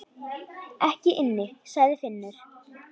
Ekki inni, sagði Finnur.